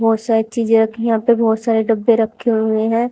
बहोत सारी चीजें रखी हैं यहां पे बहोत सारे डब्बे रखे हुए हैं।